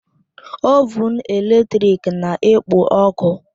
Ovụn eletrik na-ekpo ọkụ